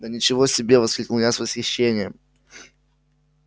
да ничего себе воскликнул я с восхищением